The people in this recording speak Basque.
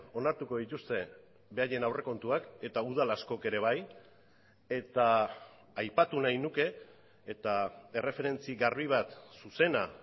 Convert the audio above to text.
onartuko dituzte beraien aurrekontuak eta udal askok ere bai eta aipatu nahi nuke eta erreferentzia garbi bat zuzena